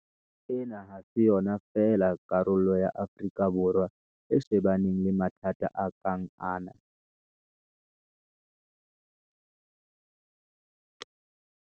Ena ha se yona fela karolo ya Afrika Borwa e shebaneng le mathata a kang ana.